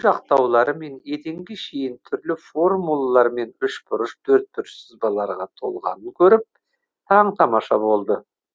жақтаулары мен еденге шейін түрлі формулалар мен үшбұрыш төртбұрыш сызбаларға толғанын көріп таң тамаша болды